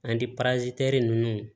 An di ninnu